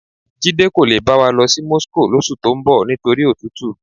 Jídé kò le bá wa lọ sí Moscow lóṣù tó ń bọ̀ nítorí òtútù.